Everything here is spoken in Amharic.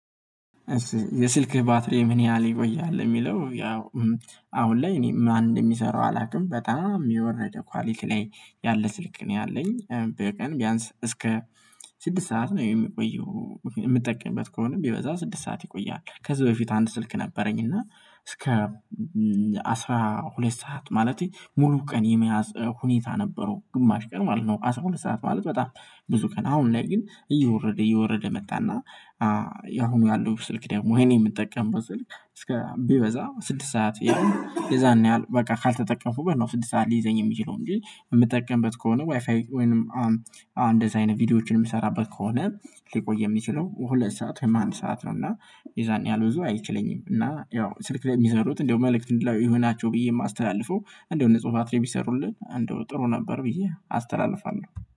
የስልክ ባትሪምን ያህል ይቆያል የሚለው? ያው አሁን ላይ እኔ ማን እንደሚሰራው አላውቅም በጣም የወረደ ኳሊቲ ላይ ያለ ስልክ ነው። ያለኝ በቀን ቢያንስ እስከ ስድስት ሰዓት ነው የሚቆየው የምጠቀምበት ከሆነ ቢበዛ ስድስት ሰዓት ይቆያል። ከዚህ በፊት አንድ ስልክ ነበረኝ እና እስከ አስራ ሁለት ሰዓት ማለቴ ሙሉ ቀን የመያዝ ሁኔታ ነበረው። ግማሽ ቀን ማለት ነው። አስራ ሁለት ሰዓት ማለት በጣም ብዙ ቀን አሁን ግን እየወረደ እየወረደ መጣና። ያሁኑ ያለው ስልክ ደግሞ የኔ የምጠቀምበት ስልክ እስከ ቢበዛ ስድስት ሰዓት ያሉ የዛን ያህል በቃ ካልተጠቀሙ በቀን ስድስት ሰዓት ሊይዘኝ የሚችለው እንጂ የምጠቀምበት ከሆነ ዋይፋይ ወይንም አሁን እንደዚህ አይነት ቪዲዮዎችን የምሰራበት ከሆነ ሊቆይ የሚችለው ሁለት ሰዓት ወይም አንድ ሰዓት ነው። እና የዛን ያህል ብዙ አይችለኝም እና ያው ስልክ ላይ የሚሰሩት እንደው መልእክት እንዲሆናቸው ብዬ የማስተላልፈው እንደው ንጹህ ባትሪ ቢሰሩልን እንደው ጥሩ ነበር ብዬ አስተላልፋለሁ